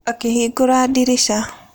Akĩhingũra ndirica.